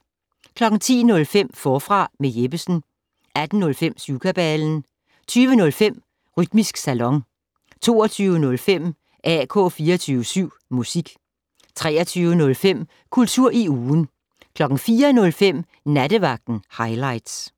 10:05: Forfra med Jeppesen 18:05: Syvkabalen 20:05: Rytmisk Salon 22:05: AK 24syv Musik 23:05: Kultur i ugen 04:05: Nattevagten Highligts